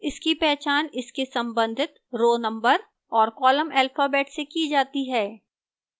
इसकी पहचान इसके संबंधित row number और column alphabet से की जाती है